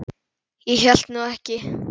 Ég hélt nú ekki.